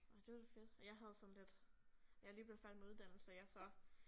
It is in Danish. Ej det var da fedt og jeg havde sådan lidt jeg lige blevet færdig med uddannelse ja så